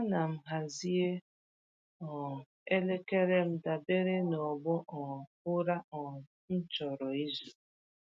Ana m hazie um elekere m dabere n’ọgbọ um ụra um m chọrọ izu.